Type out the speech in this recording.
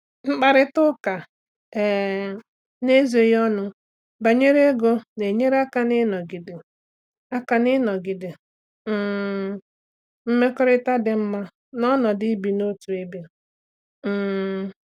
Mkparịta ụka um n'ezoghị ọnụ banyere ego na-enye aka n'ịnọgide aka n'ịnọgide um mmekọrịta dị mma n'ọnọdụ ibi n'otu ebe. um